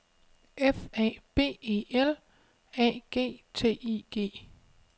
F A B E L A G T I G